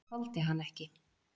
Ég þoldi hann ekki.